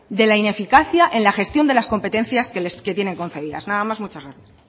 de la ineficacia en la gestión de las competencias que tienen conferidas nada más muchas gracias